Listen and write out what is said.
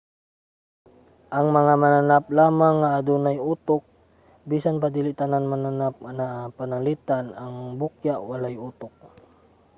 ang mga mananap lamang ang adunay utok bisan pa dili tanan mga mananap anaa; pananglitan ang bukya walay utok